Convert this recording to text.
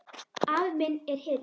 Afi minn er hetjan mín.